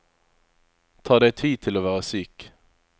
Ta deg tid til å være syk.